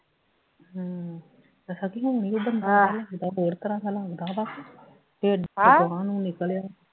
ਹਮ ਦੱਸੋ ਕੀ ਹੁਣ ਈ ਇਹ ਬੰਦਾ ਹੋਰ ਤਰ੍ਹਾਂ ਜਿਹਾ ਲੱਗਦਾ ਵਾ ਤੇ ਨੂੰ ਨਿਕਲਿਆ